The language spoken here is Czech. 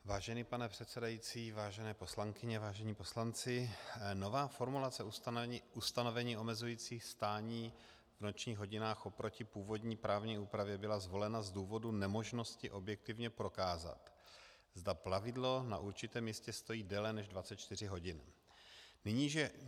Vážený pane předsedající, vážené poslankyně, vážení poslanci, nová formulace ustanovení omezující stání v nočních hodinách oproti původní právní úpravě byla zvolena z důvodu nemožnosti objektivně prokázat, zda plavidlo na určitém místě stojí déle než 24 hodin.